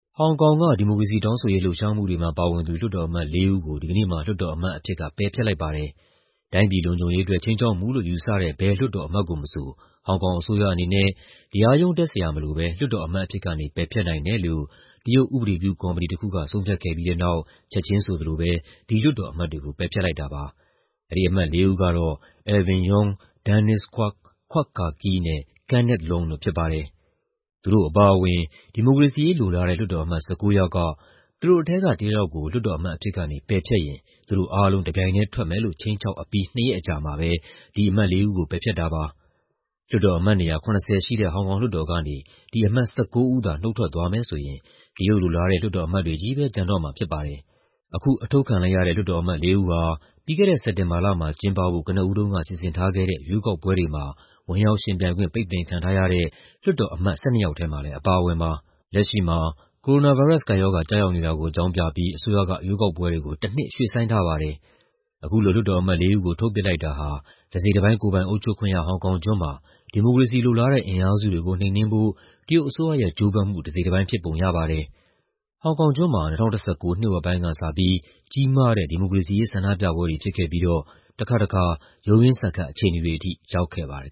ဟောင်ကောင်က ဒီမိုကရေစီတောင်းဆိုရေး လှုပ်ရှားမှုတွေမှာ ပါဝင်သူ လွှတ်တော်အမတ်လေးဦးကို ဒီကနေ့မှာ လွှတ်တော်အမတ်အဖြစ်က ပယ်ဖျက်လိုက်ပါတယ်။ တိုင်းပြည်လုံခြုံရေးအတွက် ခြိမ်းခြောက်မှုလို့ ယူဆတဲ့ ဘယ်လွှတ်တော်အမတ်ကိုမဆို ဟောင်ကောင်အစိုးရအနေနဲ့ တရားရုံးတင်စရာမလိုဘဲ လွှတ်တော်အမတ်အဖြစ်ကနေ ပယ်ဖျက်နိုင်တယ်လို့ တရုတ် ဥပဒေပြုကော်မတီတခုက ဆုံးဖြတ်ခဲ့ပြီးတဲ့နောက် ချက်ခြင်းဆိုသလိုပဲ ဒီလွှတ်တော်အမတ်တွေကို ပယ်ဖျက်လိုက်တာပါ။ ဒီအမတ်လေးဦးကတော့ Alvin Yeung, Dennis Kwok, Kwok Ka-ki နဲ့ Kenneth Leung တို့ဖြစ်ပါတယ်။ သူတို့အပါအဝင် ဒီမိုကရေစီရေးလိုလားတဲ့ လွှတ်တော်အမတ် ၁၉ ယောက်က သူတို့ထဲက တယောက်ယောက်ကို လွှတ်တော်အမတ်အဖြစ်ကနေ ပယ်ဖျက်ရင် သူတို့အားလုံး တပြိုင်ထဲထွက်မယ်လို့ ခြိမ်းခြောက်အပြီး နှစ်ရက်အကြာမှာပဲ အခုအမတ်လေးဦးကို ပယ်ဖျက်တာပါ။ လွှတ်တော်အမတ်နေရာ ၇၀ ရှိတဲ့ ဟောင်ကောင်လွှတ်တော်ကနေ ဒီအမတ် ၁၉ ဦးသာ နုတ်ထွက်သွားမယ်ဆိုရင် တရုတ်လိုလားတဲ့ လွှတ်တော်အမတ်တွေချည်းပဲ ကျန်တော့မှာဖြစ်ပါတယ်။ အခု အထုတ်ခံလိုက်ရတဲ့ လွှတ်တော်အမတ်လေးဦးဟာ ပြီးခဲ့တဲ့ စက်တင်ဘာလမှာ ကျင်းပဖို့ ကနဦးတုန်းက စီစဉ်ထားခဲ့တဲ့ ရွေးကောက်ပွဲတွေမှာ ဝင်ရောက်ယှဉ်ပြိုင်ခွင့် ပိတ်ပင်ခံခဲ့ရတဲ့ လွှတ်တော်အမတ် ၁၂ ယောက်ထဲမှာလည်း အပါအဝင်ပါ။ လက်ရှိမှာ ကိုရိုနာဗိုင်းရပ်စ် ကပ်ရောဂါ ကျရောက်နေတာကို အကြောင်းပြန်ပြီး အစိုးရက ရွေးကောက်ပွဲတွေကို တနှစ်ရွှေ့ဆိုင်းထားပါတယ်။ အခုလို လွှတ်တော်အမတ်လေးဦးကို ထုတ်ပစ်လိုက်တာဟာ တစိတ်တပိုင်း ကိုယ်ပိုင်အုပ်ချုပ်ခွင့်ရ ဟောင်ကောင်ကျွန်းမှာ ဒီမိုကရေစီလိုလားတဲ့ အင်အားစုတွေကို နှိမ်နင်းဖို့ တရုတ်အစိုးရရဲ့ ကြိုးပမ်းမှုတစိတ်တပိုင်းဖြစ်ပုံရပါတယ်။ ဟောင်ကောင်ကျွန်းမှာ ၂၀၁၉ နှစ်ဝက်ပိုင်းကစပြီး ကြီးမားတဲ့ ဒီမိုကရေစီရေး ဆန္ဒပြပွဲကြီးတွေဖြစ်ခဲ့ပြီးတော့ တခါတခါ ရုန်းရင်းဆန်ခတ်အခြေအနေတွေထိ ရောက်ခဲ့ပါတယ်